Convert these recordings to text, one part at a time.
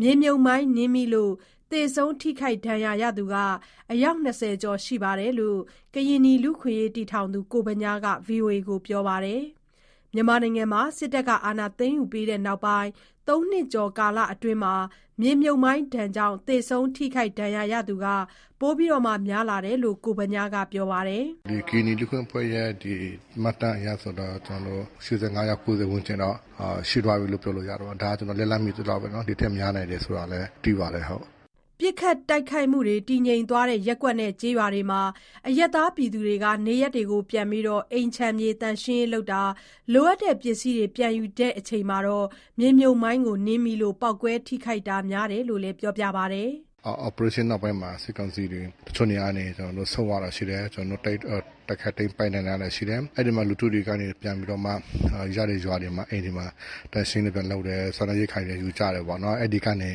မြေမြှုပ်မိုင်းနင်းမိလို့ သေဆုံးထိခိုက်ဒဏ်ရာရှိသူ အယောက် ၂၀ ကျော်ရှိတယ်လို့ ကရင်နီလူ့အခွင့်အရေးအဖွဲ့တည်ထောင်သူ ကိုဗညားက ဗွီအိုအေကို ပြောပါတယ်။ စစ်အာဏာသိမ်းယူပြီးနောက်ပိုင်း ၃ နှစ်ကျော်ကာလအတွင်းမှာတော့ မြေမြှုပ်မိုင်းကြောင့် သေဆုံး၊ ထိခိုက်ဒဏ်ရာရရှိသူ ပိုများလာတယ်လို့လည်း ပြောပါတယ်။ “ဒီကရင်နီလူ့အခွင့်အရေးအဖွဲ့ရဲ့ မှတ်တမ်းအရဆိုတာ ကျနော်တို့ ၈၅ ယောက် ၉၀ ဝန်းကျင်တော့ ရှိသွားပြီးလို့ ပြောလို့ရတာပေါ့။ ဒါကျနော်လက်လှမ်းမီသလောက်ပဲနော် ဒီထက် များနိုင်တယ်ဆိုတာလည်း သိပါတယ်ဟုတ်။” ပစ်ခတ်တိုက်ခိုက်မှု တည်ငြိမ်တဲ့ ရပ်ကွက်နဲ့ ကျေးရွာတွေမှာ အရပ်သားတွေ နေရပ်ပြန်ပြီး အိမ်ခြံသန့်ရှင်းရေးလုပ်တာ၊ လိုအပ်တဲ့ပစ္စည်းတွေ ပြန်ယူရင်း နင်းမိလို့ ပေါက်ကွဲထိခိုက်တာ များတယ်လို့လည်း ပြောပါတယ်။ “operation နောက်ပိုင်းမှာ စစ်ကောင်စီတွေ တချို့နေရာကနေ ဆုတ်သွားတာရှိတယ်။ ကျနော်တို့ တိုက်ခိုက်သိမ်းပိုက်နိုင်တာရှိတယ်။ အဲ့ဒီမှာ လူထုတွေကနေ ပြန်ပြီးတော့မှ ရတဲ့ရွာတွေမှာ အိမ်တွေမှာ သန့်ရှင်းရေးတွေ ပြန်လုပ်တယ်၊ စားနပ်ရိက္ခာတွေလည်း ယူကြတယ်ပေါ့နော်။ အဲ့ဒီကနေ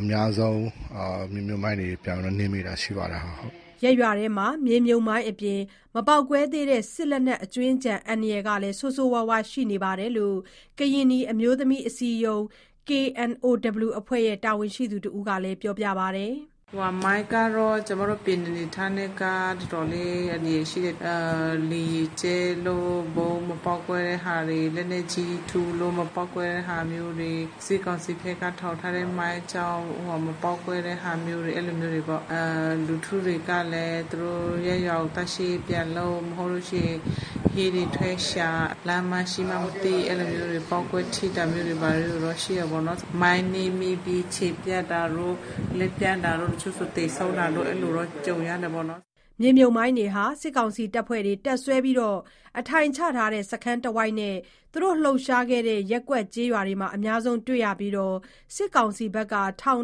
အများဆုံး မြေမြှုပ်မိုင်းတွေ ပြန်ပြီးတော့ နင်းမိတာရှိတယ်ဟုတ်။” ရပ်ရွာထဲမှာ မြေမြှုပ်မိုင်းအပြင် မပေါက်ကွဲသေးတဲ့ စစ်လက်နက် အကြွင်းအကျန် အန္တရာယ်လည်း ဆိုးရွားရှိနေတယ်လို့ ကရင်နီအမျိုးသမီးအစည်းအရုံး (KNOW) အဖွဲ့ တာဝန်ရှိသူတဦးက ပြောပါတယ်။ “မိုင်းကတော့ ကျမတို့ ကရင်နီအနေအထားနဲ့က တော်တော်လေး အန္တရာယ်ရှိတယ်။ လေယာဉ်ကြဲလို့ ဗုံးမပေါက်ကွဲတဲ့ဟာတွေ လက်နက်ကြီးထုလို့ မပေါက်ကွဲတဲ့ဟာမျိုးတွေ စစ်ကောင်စီဖက်က ထောင်ထားတဲ့မိုင်းကြောင့် မပေါက်ကွဲတဲ့ဟာမျိုးတွေ အဲ့လိုမျိုးတွေပေါ့။ လူထုတွေကလည်း သူတို့ရပ်ရွာကို သန့်ရှင်းရေးပြန်လုပ် မဟုတ်လို့ရှိရင် ဟင်းတွေထွက်ရှာ လမ်းမှာရှိမှန်းမသိ အဲ့လိုမျိုးတွေပေါ့ ပေါက်ကွဲထိတာမျိုးတွေ ဘာတွေ ရှိတယ်။ မိုင်းနင်းမိပြီး ခြေပြတ်တာတို့ လက်ပြတ်တာတို့ တချို့ဆိုသေဆုံးတာတို့ အဲ့လိုမျိုးတော့ ကြုံရတယ်ပေါ့နော်။” မြေမြှုပ်မိုင်းတွေဟာ စစ်ကောင်စီတပ်ဖွဲ့တွေ တပ်စွဲအထိုင်ချထားတဲ့ စခန်းတဝိုက်နဲ့ သူတို့လှုပ်ရှားခဲ့တဲ့ ရပ်ကွက်၊ ကျေးရွာတွေမှာ အများဆုံးတွေ့ရပြီး စစ်ကောင်စီဘက်က ထောင်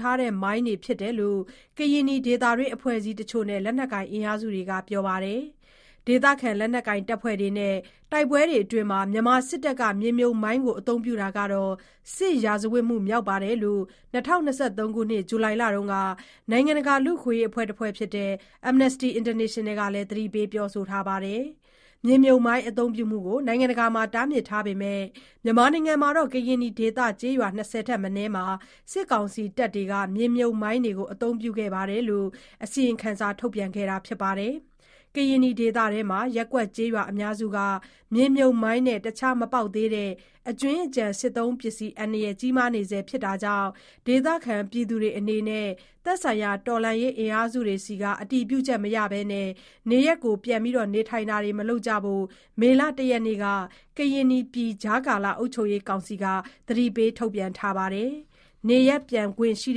ထားတဲ့ မိုင်းတွေဖြစ်တယ်လို့ ကရင်နီဒေသတွင်းအဖွဲ့အစည်းတချို့နဲ့ လက်နက်ကိုင် အင်အားစုတွေက ပြောပါတယ်။ ဒေသခံလက်နက်ကိုင်အဖွဲ့တွေနဲ့ တိုက်ပွဲတွေအတွင်း မြန်မာစစ်တပ်က မြေမြှုပ်မိုင်း အသုံးပြုတာဟာ စစ်ရာဇဝတ်မှုမြောက်တယ်လို့ ၂၀၂၃ ခုနှစ် ဇူလိုင်လမှာ နိုင်ငံတကာလူ့အခွင့်အရေးအဖွဲ့ Amnesty International က သတိပေးထားပါတယ်။ မြေမြှုပ်မိုင်း အသုံးပြုမှုကို နိုင်ငံတကာမှာ တားမြစ်ထားပေမယ့် ကရင်နီဒေသ ကျေးရွာ ၂၀ ထက်မနည်းမှာ စစ်ကောင်စီတပ်တွေက မြေမြှုပ်မိုင်းတွေ အသုံးပြုခဲ့တယ်လို့ အစီရင်ခံစာ ထုတ်ပြန်ခဲ့တာပါ။ ကရင်နီပြည်အတွင်းမှာ ရပ်ကွက်ကျေးရွာအများစုက မြေမြှုပ်မိုင်းနဲ့ အခြား မပေါက်သေးတဲ့ အကြွင်းအကျန်စစ်သုံးပစ္စည်း အန္တရာယ် ကြီးမားနေဆဲဖြစ်တာကြောင့် ဒေသခံတွေအနေနဲ့ သက်ဆိုင်ရာ တော်လှန်ရေးအင်အားစုတွေဆီ အတည်ပြုချက်မရဘဲ နေရပ်ပြန်နေထိုင်တာမလုပ်ကြဖို့ မေလ ၁ ရက်နေ့က ကရင်နီပြည်ကြားကာလ အုပ်ချုပ်ရေးကောင်စီက အသိပေးထုတ်ပြန်ထားပါတယ်။ နေရပ်ပြန်ထိုင်ခွင့်ရှိ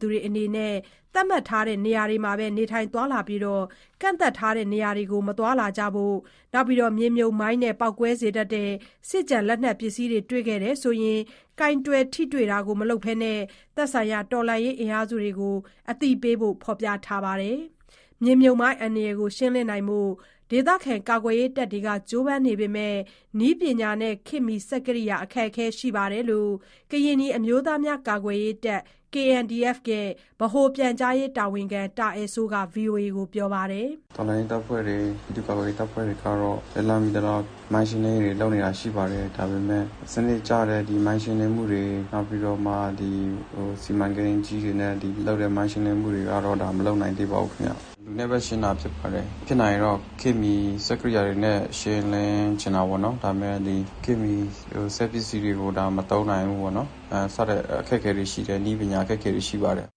သူတွေအနေနဲ့ သတ်မှတ်ထားတဲ့ နေရာမှာပဲ နေထိုင်သွားလာပြီး ကန့်သတ်ထားတဲ့ နေရာတွေမှာ သွားလာတာ မလုပ်ကြဖို့၊ မြေမြှုပ်မိုင်းနဲ့ ပေါက်ကွဲစေတတ်တဲ့ စစ်လက်နက်ပစ္စည်းတွေ တွေ့ရှိရင် ကိုင်တွယ်ထိတွေ့တာ မလုပ်ဘဲ သက်ဆိုင်ရာ တော်လှန်ရေးအင်အားစုတွေကို အသိပေးဖို့ ဖော်ပြထားပါတယ်။ မြေမြှုပ်မိုင်းအန္တရာယ်ကို ရှင်းလင်းနိုင်ဖို့ ကာကွယ်ရေးတပ်တွေ ကြိုးပမ်းနေပေမယ့် နည်းပညာနဲ့ ခေတ်မီစက်ကိရိယာ အခက်အခဲ ရှိနေတယ်လို့ ကရင်နီအမျိုးသားများကာကွယ်ရေးတပ်(KNDF) ဗဟိုပြန်ကြားရေးတာဝန်ရှိသူ တာအယ်စိုးက ဗွီအိုအေကို ပြောပါတယ်။ “တော်လှန်ရေးတပ်ဖွဲ့တွေ ပြည်သူ့ကာကွယ်ရေးတပ်ဖွဲ့တွေကတော့ လက်လှမ်းမီသလောက် မိုင်းရှင်းလင်းရေးလုပ်နေတာရှိပါတယ်။ ဒါပေမယ့် စနစ်ကျတဲ့ ဒီမိုင်းရှင်းလင်းမှုတွေ နောက်ပြီးတော့မှ ဒီစီမံကိန်းအကြီးတွေနဲ့ လုပ်တဲ့ မိုင်းရှင်းလင်းမှုတွေကတော့ ဒါမလုပ်နိုင်သေးဘူးခင်ဗျ။ လူနဲ့ပဲ ရှင်းတာဖြစ်ပါတယ်။ ဖြစ်နိုင်ရင်တော့ ခေတ်မီစက်ကိရိယာတွေနဲ့ ရှင်းလင်းချင်တာပေါ့နော် ဒါပေမယ့်ဒီခေတ်မီစက်ပစ္စည်းတွေကို ဒါမသုံးနိုင်ဘူးပေါ့နော်၊ စတဲ့အခက်အခဲလေးတွေ ရှိတယ် နည်းပညာအခက်အခဲတွေ ရှိပါတယ်။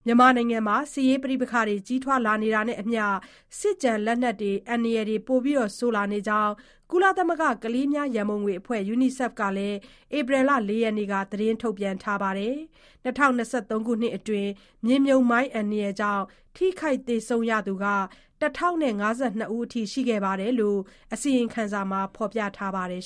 ” မြန်မာနိုင်ငံမှာ ပဋိပက္ခတွေ ကြီးထွားလာနေတာနဲ့အမျှ စစ်ကျန်လက်နက်တွေ အန္တရာယ် ပိုဆိုးလာနေကြောင်း ကုလသမဂ္ဂ ကလေးငယ်များ ရန်ပုံအဖွဲ့ UNICEF က ဧပြီ ၄ရက်နေ့က ထုတ်ပြန်ထားပါတယ်။ ၂၀၂၃ ခုနှစ်အတွင်း မြေမြှုပ်မိုင်းကြောင့် ထိခိုက် သေဆုံးသူရ ၁,၀၅၂ ဦး ရှိတယ်လို့လည်း အစီရင်ခံစာက ဖော်ပြထားပါတယ်